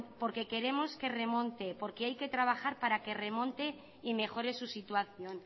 porque queremos que remonte porque hay que trabajar para que remonte y mejore su situación